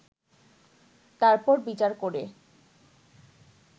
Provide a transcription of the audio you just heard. তারপর বিচার করে